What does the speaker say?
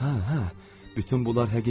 Hə, hə, bütün bunlar həqiqətdir.